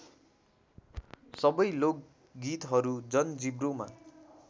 सबै लोकगीतहरू जनजिब्रोमा